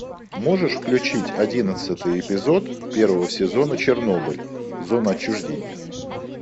можешь включить одиннадцатый эпизод первого сезона чернобыль зона отчуждения